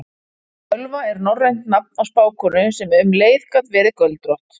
Völva er norrænt nafn á spákonu sem um leið gat verið göldrótt.